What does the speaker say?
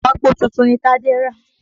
Ìwágbó tuntun ni Tádé rà